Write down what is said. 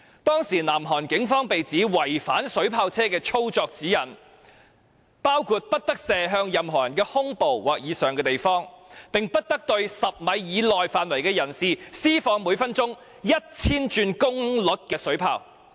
當時，南韓警方被指違反水炮車的操作指引，包括不得射向任何人的胸部或以上位置，亦不得向在10米範圍以內的人士施放每分鐘 1,000 轉功率的水炮。